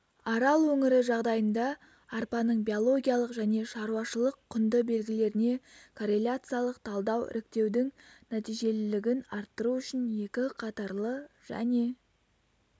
арал өңірі жағдайында арпаның биологиялық және шаруашылық-құнды белгілеріне корреляциялық талдау іріктеудің нәтижелілігін арттыру үшін екі қатарлы және